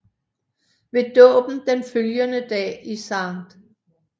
Ved dåben den følgende dag i St